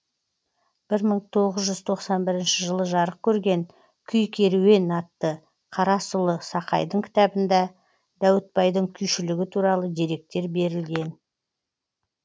бір мың тоғыз жүз тоқсан бірінші жылы жарық көрген күй керуен атты қарасұлы сақайдың кітабында дәуітбайдың күйшілігі туралы деректер берілген